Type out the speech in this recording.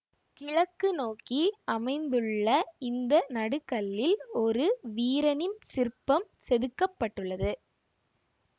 கிழக்குநோக்கி அமைந்துள்ள இந்த நடுகல்லில் ஒரு வீரனின் சிற்பம் செதுக்க பட்டுள்ளது